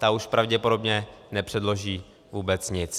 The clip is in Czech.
Ta už pravděpodobně nepředloží vůbec nic.